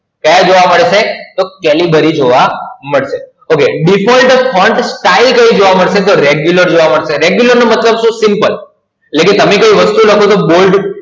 ક્યા જોવા મળે છે? તો Calibri જોવા મળશે. OkayDefault Font Style કઈ જોવા મળશે તો Regular જોવા મળશે. Regular નો મતલબ શું? Simple લેકિન તમે કોઈ વસ્તુ લખો છો Bold